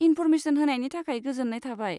Information होनायनि थाखाय गोजोन्नाय थाबाय।